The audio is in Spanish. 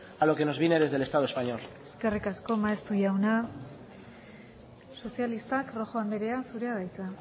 a lo que nos viene desde el estado español eskerrik asko maeztu jauna sozialistak rojo andrea zurea da hitza